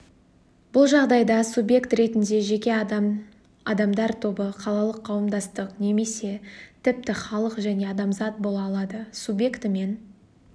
бұл жағдайда субъект ретінде жеке адам адамдар тобы қалалық қауымдастық немесе тіпті халық және адамзат бола алады субъектімен